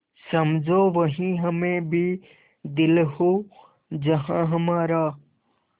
समझो वहीं हमें भी दिल हो जहाँ हमारा